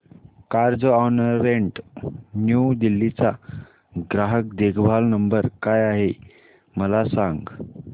Carzonrent New Delhi चा ग्राहक देखभाल नंबर काय आहे मला सांग